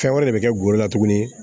Fɛn wɛrɛ de bɛ kɛ golo la tuguni